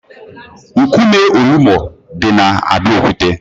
Nkume Olumo di na Abeokuta.